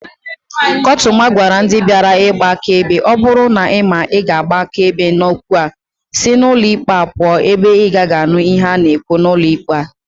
Kotuma gwara ndi biara igba akaebe "o buru na ima na I ga-agba akaebe n'okwu a, si n'ulo ikpe a puo ebe inagagi anu ihe a na-ekwu n'ulo ikpe a."